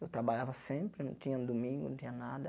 Eu trabalhava sempre, não tinha domingo, não tinha nada.